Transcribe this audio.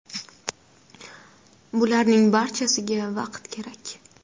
Bularning barchasiga vaqt kerak.